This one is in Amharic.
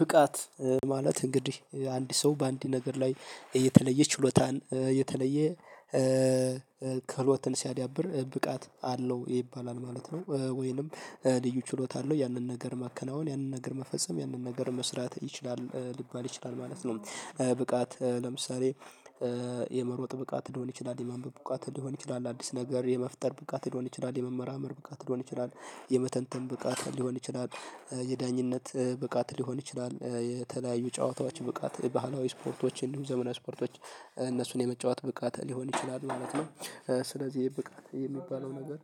ብቃት ማለት እንግዲህ አንድ ሰው በአንድ ነገር ላይ የተለየ ችሎታን የተለየ ክህሎትን ሲያዳብር ብቃት አለው ይባላል ማለት ነው። ወይንም ልዩ ችሎታ አለው ያንን ነገር ማከናወን ያንን ነገር መፈጸም ያንን ነገር መስራት ይችላል ሊባል ይችላል ማለት ነው። ብቃት ለምሳሌ የመሮጥ ብቃት ሊሆን ይችላል የመንበብ ብቃት ሊሆን ይችላል አዲስ ነገር የመፍጠር ብቃት ሊሆን ይችላል የመመርመር ብቃት ሊሆን ይችላል የመተንተን ብቃት ሊሆን ይችላል የዳኝነት ብቃት ሊሆን ይችላል የተለያዩ ጨዋታዎች ብቃት ባህላዊ ስፖርቶች እንዲሁ ዘመናዊ ስፖርቶች እነሱን የመጫወት ብቃት ሊሆን ይችላል ማለት ነው። ስለዚህ ይሄ ብቃት የሚባለው ነገር